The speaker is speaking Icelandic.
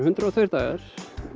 hundrað og tveir dagar